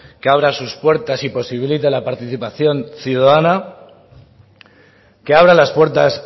que abra sus puertas y posibilite la participación ciudadana que abra las puertas